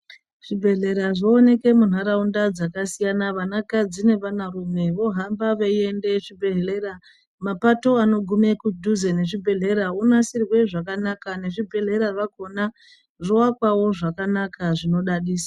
Zvibhedhlera zvooneke muntaraunda dzakasiyana vana kadzi nevana rume vohamba beiende zvibhedhlera mapato anogume kudhuze nezvibhedhlera onasirwe zvakanaka nezvibhedhlera zvakhona zvoakwawo zvakanaka zvinodadisa.